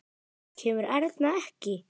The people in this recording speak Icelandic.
Kemur Erna ekki!